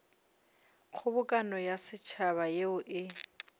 kgobokano ya setšhaba yeo e